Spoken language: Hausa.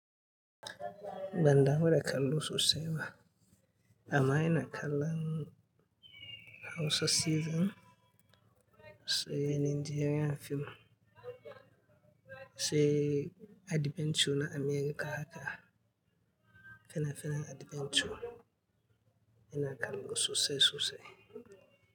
Bandamu da kallo sosai ba, amma ina kallon Hausa Season, sai Nigerian fim, sai adventure na America haka, fena-fenan adventure, yana kallo sosai sosai.